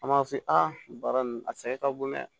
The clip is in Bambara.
An b'a f'i ye a baara nin a sɛgɛn ka bon dɛ